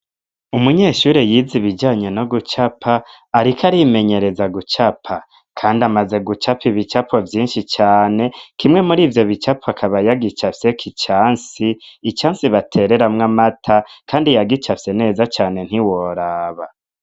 Umunyeshure yize ibijanye no gucapa ariko arimenyereza gucapa kandi amaze gucapa ibicapo vyinshi cane, kimwe muri ivyo bicapo akaba yagicafyeko icansi, icansi batereramwo amata kandi yagicafye neza cane ntiworaba.